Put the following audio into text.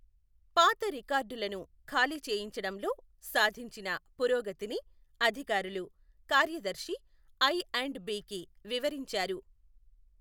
పాత రికార్డులను ఖాళీ చేయించడంలో సాధించిన పురోగతిని అధికారులు కార్యదర్శి ఐ అండ్ బికి వివరించారు.